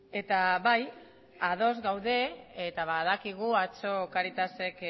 eta bai ados gaude eta badakigu atzo cáritasek